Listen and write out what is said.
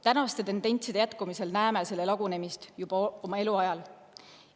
Tänaste tendentside jätkudes näeme selle lagunemist juba oma eluajal.